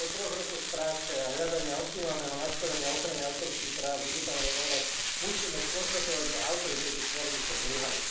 Po troch rokoch práce a hľadania optimálneho nastavenia ochrany autorských práv v digitálnej ére musíme skonštatovať, že autori tejto smernice zlyhali.